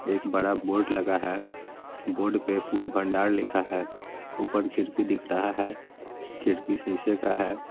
एक बड़ा बोर्ड लगा है बोर्ड पे फूल भंडार लिखा है ऊपर खिड़की दिख रहा है खिड़की शीशे का है।